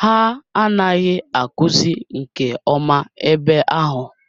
ha anaghị akụzi nke ọma ebe ahụ